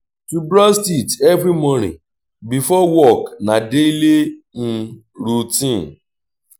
to brush teeth every morning before work na daily routine